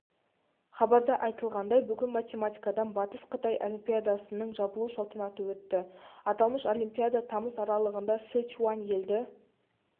хабарда айтылғандай бүгін математикадан батыс-қытай олимпиадасының жабылу салтанаты өтті аталмыш олимпиада тамыз аралығында сычуань елді